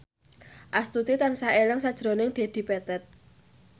Astuti tansah eling sakjroning Dedi Petet